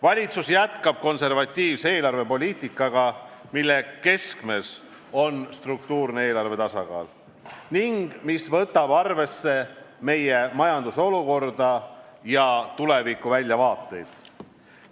Valitsus jätkab konservatiivse eelarvepoliitikaga, mille keskmes on struktuurne eelarvetasakaal ning mis võtab arvesse meie majanduse olukorda ja tulevikuväljavaateid.